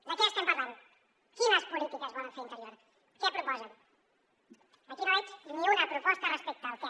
de què estem parlant quines polítiques volen fer a interior què proposen aquí no veig ni una proposta respecte al què